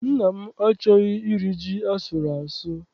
Nna m achọghị iri ji asụrụ asụ.